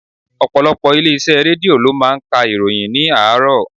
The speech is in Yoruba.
Ọ̀pọ̀lọpọ̀ ilé iṣẹ́ Rédíò lo máa ń ka ìròyìn ni àárọ̀.